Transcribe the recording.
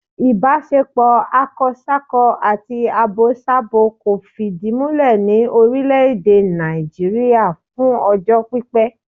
Ìbáṣepọ̀ akọsákọ àti abosábo kò fìdí múlẹ̀ ní orílẹ̀ èdè Nàìjíríà fún ọjọ́ pípẹ́